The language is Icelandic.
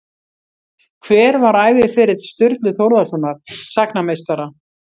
Hver var æviferill Sturlu Þórðarsonar sagnameistara?